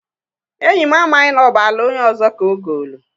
Enyị m amaghị n'ọbụ ala onye ọzọ ka ogoolu.